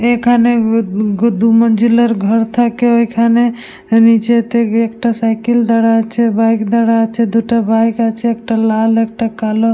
এখানে ঘর থাকে । এখানে নিচে একটা সাইকেল দাড়া আছে বাইক দাড়া আছে দুটো বাইক আছে একটা লাল একটা কালো।